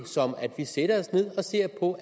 om at vi sætter os ned og ser på